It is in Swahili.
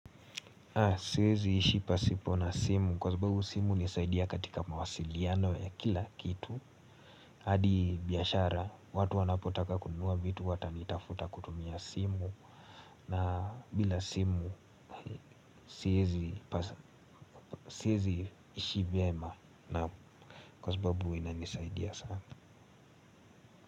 Siwezi ishi pasipo na simu kwa sababu simu hunisaidia katika mawasiliano ya kila kitu. Hadi biashara watu wanapotaka kununua vitu watanitafuta kutumia simu na bila simu siwezi ishi vyema na kwa sababu inanisaidia sana.